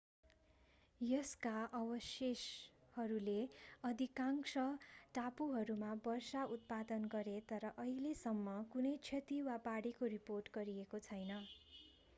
यसका अवशेषहरूले अधिकांश टापुहरूमा वर्षा उत्पादन गरे तर अहिलेसम्म कुनै क्षति वा बाढीको रिपोर्ट गरिएको छैन